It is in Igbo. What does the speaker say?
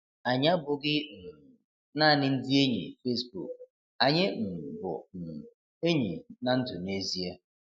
Anyị abụghị um naanị ndị enyi Facebook, anyị um bụ um enyi na ndụ n'ezie.